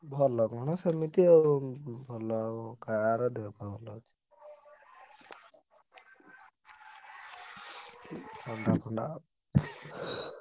ଭଲ କଣ ସେମିତି ଆଉ ଭଲ କାହାର ଥଣ୍ଡା ଫଣ୍ଡା।